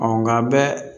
Ɔ nga a bɛɛ